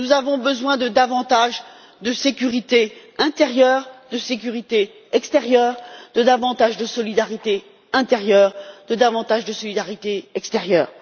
Nous avons besoin de davantage de sécurité intérieure, de sécurité extérieure, de davantage de solidarité intérieure, de davantage de solidarité extérieure.